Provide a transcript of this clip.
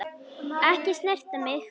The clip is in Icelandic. Ekki snerta mig.